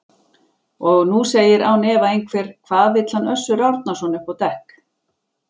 Og nú segir án efa einhver: Hvað vill hann Össur Árnason upp á dekk?